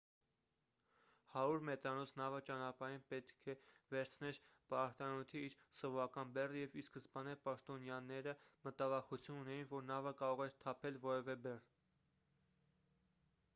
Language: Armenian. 100 մետրանոց նավը ճանապարհին պետք է վերցներ պարարտանյութի իր սովորական բեռը և ի սկզբանե պաշտոնյաները մտավախություն ունեին որ նավը կարող էր թափել որևէ բեռ